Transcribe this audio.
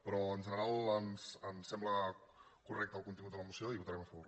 però en general ens sembla correcte el contingut de la moció i hi votarem a favor